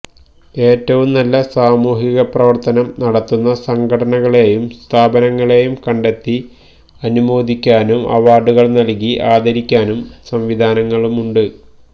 ഏറ്റവും നല്ല സാമൂഹിക പ്രവര്ത്തനം നടത്തുന്ന സംഘടനകളെയും സ്ഥാപനങ്ങളെയും കണ്ടെത്തി അനുമോദിക്കാനും അവാര്ഡുകള് നല്കി ആദരിക്കാനും സംവിധാനങ്ങളുണ്ട്